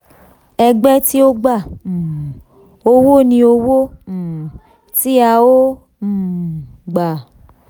ẹgbẹ́ tí ó gba um owó ni owó um tí a ó um gbà.